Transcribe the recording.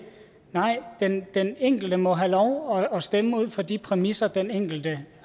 nej den enkelte må have lov at stemme ud fra de præmisser den enkelte